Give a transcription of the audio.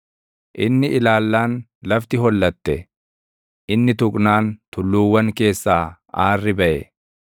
inni ilaallaan lafti hollatte; inni tuqnaan tulluuwwan keessaa aarrii baʼe.